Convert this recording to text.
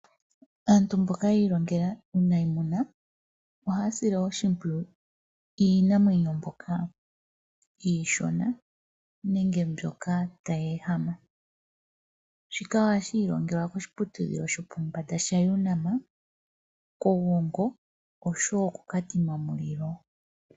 Aantu mboka yiilongela uunayimuna ohaasile oshimpwiyu iinamwenyo ndjoka iishono nenge ndjoka tayeehama shika ohashiilongelwa koshiputudhilo shopombanda shaUNAM koGongo nosho woo koKatima Mulilo.